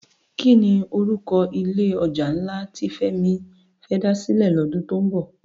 Kini òrúkò ilé òjá nlá ti Femi fè dá silè lòdún tó nbò?